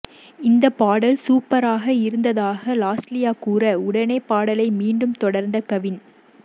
இந்த பாடல் சூப்பராக இருந்ததாக லாஸ்லியா கூற உடனே பாடலை மீண்டும் தொடர்ந்த கவின்